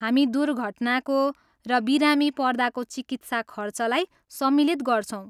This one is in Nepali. हामी दुर्घटनाको र बिरामी पर्दाको चिकित्सा खर्चलाई सम्मिलित गर्छौँ।